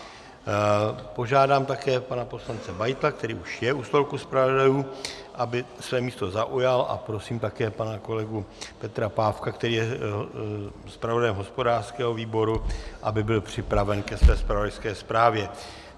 Požádám také pana poslance Beitla, který už je u stolku zpravodajů, aby své místo zaujal, a prosím také pana kolegu Petra Pávka, který je zpravodajem hospodářského výboru, aby byl připraven ke své zpravodajské zprávě.